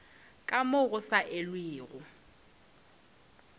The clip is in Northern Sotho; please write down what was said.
ka moo go sa elwego